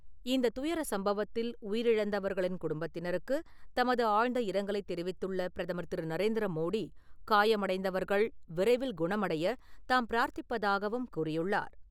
இந்த துயர சம்பவத்தில் உயிரிழந்தவர்களின் குடும்பத்தினருக்கு தமது ஆழ்ந்த இரங்கலைத் தெரிவித்துள்ள பிரதமர் திரு நரேந்திர மோடி, காயமடைந்தவர்கள் விரைவில் குணமடைய தாம் பிரார்த்திப்பதாகவும் கூறியுள்ளார்.